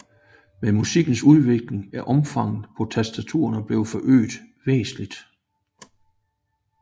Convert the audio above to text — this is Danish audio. Med musikkens udvikling er omfanget på tastaturet blevet forøget væsentligt